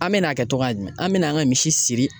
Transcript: An me n'a kɛ tɔgɔya jumɛn an bɛna an ka misi siri